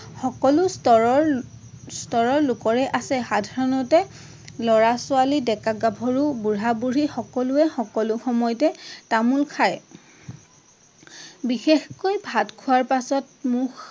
সকলো স্তৰৰ স্তৰৰ লোকৰে আছে। সাধাৰণতে লৰা-ছোৱালী, ডেকা-গাভৰু, বুঢ়া-বুঢ়ী সকলোৱে সকলো সময়তে তামোল খায়। বিশেষকৈ ভাত খোৱাৰ পাছত মুখ